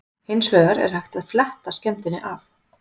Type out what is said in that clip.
Hins vegar er hægt að fletta skemmdinni af.